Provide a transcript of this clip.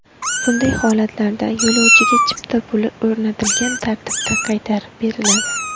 Bunday holatlarda yo‘lovchiga chipta puli o‘rnatilgan tartibda qaytarib beriladi .